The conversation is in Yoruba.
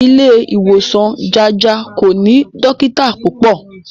Ilé ìwòsan Jájà kò ní dọ́kítà púpọ̀.